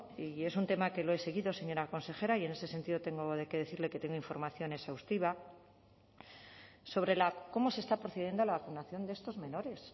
y es un tema que lo he seguido señora consejera y en ese sentido tengo que decirle que tengo información exhaustiva sobre cómo se está procediendo a la vacunación de estos menores